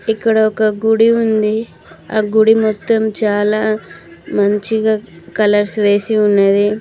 ఇక్కడ ఒక గుడి ఉంది ఆ గుడి మొత్తం చాలా మంచిగా కలర్స్ వేసి ఉన్నది.